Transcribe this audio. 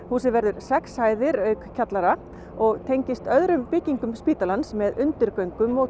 húsið verður sex hæðir auk kjallara og tengist öðrum byggingum spítalans með undirgöngum og